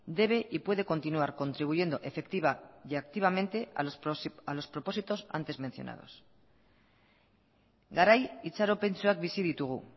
debe y puede continuar contribuyendo efectiva y activamente a los propósitos antes mencionados garai itxaropentsuak bizi ditugu